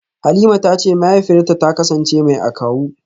Halima tace mahaifiyarta ta kasance mai akawu.